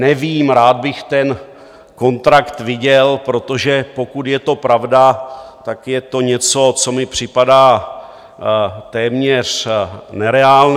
Nevím, rád bych ten kontrakt viděl, protože pokud je to pravda, tak je to něco, co mi připadá téměř nereálné.